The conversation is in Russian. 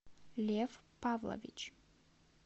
лев павлович